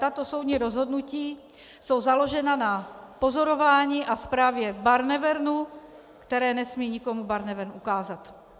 Tato soudní rozhodnutí jsou založena na pozorování a zprávě Barnevernu, které nesmí nikomu Barnevern ukázat.